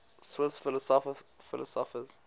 swiss philosophers